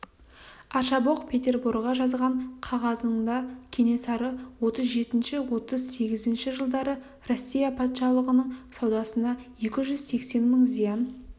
аршабоқ петерборға жазған қағазында кенесары отыз жетінші отыз сегізінші жылдары россия патшалығының саудасына екі жүз сексен мың зиян